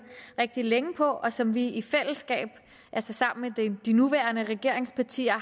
rigtig længe på og som vi i fællesskab altså sammen med de nuværende regeringspartier